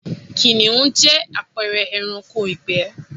Kìnìhún jẹ́ àpẹẹre ẹranko ìgbẹ́